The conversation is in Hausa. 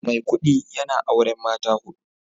Maikudi yana auren mata hudu